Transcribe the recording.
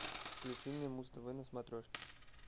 включи мне муз тв на смотрешке